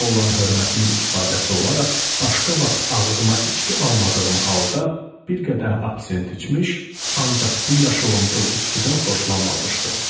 Ona olan hörmətimin ifadəsi olaraq başqa vaxt ağzıma içki almadığım halda bir qədəh absint içmiş, ancaq bu yaşılımtıl içkidən xoşlanmamışdım.